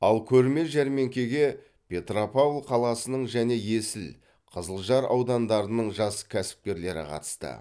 ал көрме жәрмеңкеге петропавл қаласының және есіл қызылжар аудандарының жас кәсіпкерлері қатысты